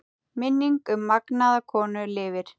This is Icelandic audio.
Minning um magnaða konu lifir.